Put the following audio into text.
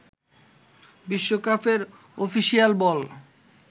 বিশ্বকাপের অফিসিয়াল বল